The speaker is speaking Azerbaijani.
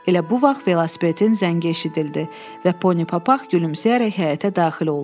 Elə bu vaxt velosipedin zəngi eşidildi və Poni Papaq gülümsəyərək həyətə daxil oldu.